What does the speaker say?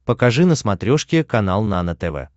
покажи на смотрешке канал нано тв